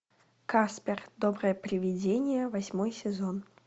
каспер доброе приведение восьмой сезон